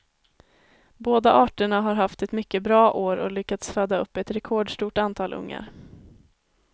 Båda arterna har haft ett mycket bra år och lyckats föda upp ett rekordstort antal ungar.